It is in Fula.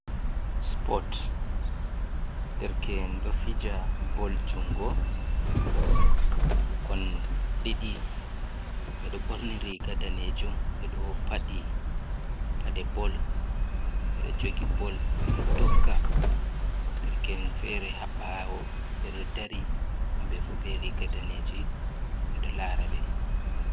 Supot, derke`en ɗo fija bol junngo, ɓe ɗo ɓorni riiga daneejum, ɓe ɗo faɗi paɗe bol, ɓe ɗo jogi bol, ɓe ɗo dogga. Derke`en feere haa ɓaawo ɓe ɗo dari, hamɓe fuu be riiga daneeji, ɓe ɗo laara ɓe.